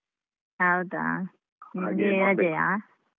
ಹೌದಾ ನಿಂಗೆ .